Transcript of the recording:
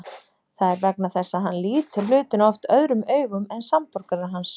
Það er vegna þess að hann lítur hlutina oft öðrum augum en samborgarar hans.